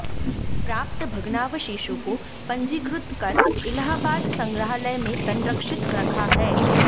प्राप्त भग्नावशेषो को पंजीकृत कर इलाहाबाद संग्राहालय में संरक्षित रखा है